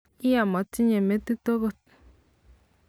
iyaa motinye metit agot.